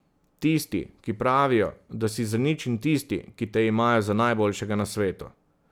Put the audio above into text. Tisti, ki pravijo, da si zanič in tisti, ki te imajo za najboljšega na svetu.